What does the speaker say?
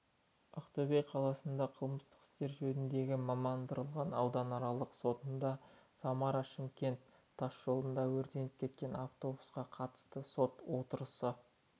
ақтөбе облыстық қылмыстық істер жөніндегі мамандандырылған ауданаралық сотында самара-шымкент тасжолында өртеніп кеткен автобусқа қатысты сот отырысы